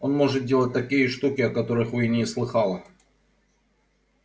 он может делать такие штуки о которых вы и не слыхала